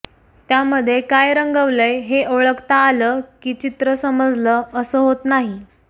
त्यामध्ये काय रंगवलंय हे ओळखता आलं की चित्रं समजलं असं होत नाही